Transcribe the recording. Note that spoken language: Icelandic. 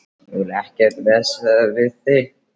Ég vil ekkert vesen við þig.